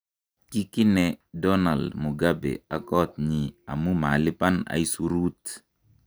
kikine donald mugabe ak kot nyi amu malipan aisuruut